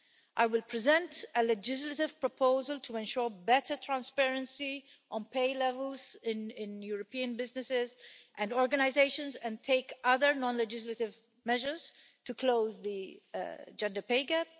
I will present a legislative proposal to ensure better transparency on pay levels in in European businesses and organisations and take other non legislative measures to close the gender pay gap.